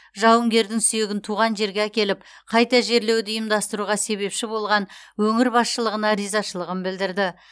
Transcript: жауынгердің сүйегін туған жерге әкеліп қайта жерлеуді ұйымдастыруға себепші болған өңір басшылығына ризашылығын білдірді